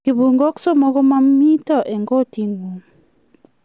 kibung'uok somok ko mamito eng' koting'ung